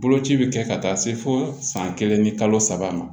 Boloci bɛ kɛ ka taa se fo san kelen ni kalo saba ma